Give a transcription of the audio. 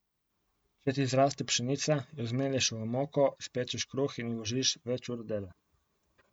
Če ti zraste pšenica, jo zmelješ v moko, spečeš kruh in vložiš več ur dela.